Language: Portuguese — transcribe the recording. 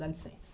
Dá licença.